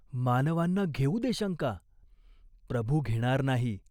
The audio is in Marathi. मानवांना घेऊ दे शंका, प्रभू घेणार नाही.